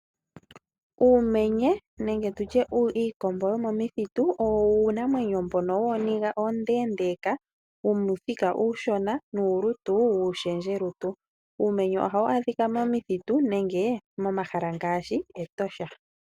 Uumenye nenge tu tye iikombo yomomuthitu, owo iinamwenyo mbyono wooniga oondeendeeka, wuuthika uufupi nuulutu wuushendjelutu. Uumenye ohawu adhika momithitu nenge momahala ngaashi mEtosha.